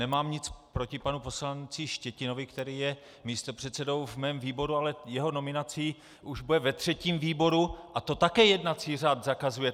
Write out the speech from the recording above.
Nemám nic proti panu poslanci Štětinovi, který je místopředsedou v mém výboru, ale jeho nominací už bude ve třetím výboru a to také jednací řád zakazuje!